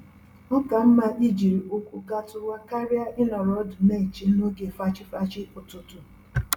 Oka mma ijiri ụkwụ gatuwa karịa ịnọrọ ọdụ n'eche n'oge fachi-fachi ụtụtụ